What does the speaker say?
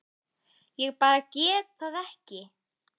Ég bara get það ekki.